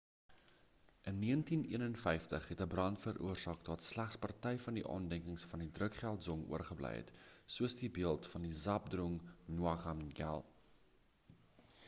in 1951 het 'n brand veroorsaak dat slegs party van die aandenkings van die drukgyal dzong oorgebly het soos die beeld van zhabdrung ngawang namgyal